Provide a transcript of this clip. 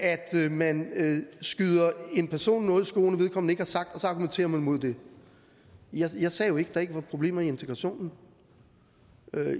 man skyder en person noget i skoen vedkommende ikke har sagt og så argumenterer man mod det jeg sagde jo ikke at der ikke var problemer i integrationen